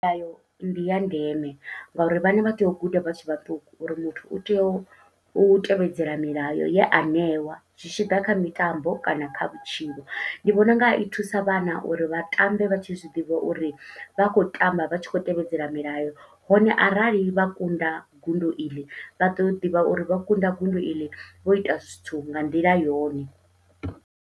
Nayo ndi ya ndeme, nga uri vhana vha tea u guda vha tshe vhaṱuku uri muthu u tea u tevhedzela milayo ye a neiwa, zwi tshi ḓa kha mitambo kana kha vhutshilo. Ndi vhona unga i thusa vhana uri vha vha tambe, vha tshi zwiḓivha uri vha khou tamba vha tshi khou tevhedzela milayo. Hone arali vha kunda gudo iḽi, vha ḓo u ḓivha uri vha kunda gondo iḽi vho ita zwithu nga nḓila yone.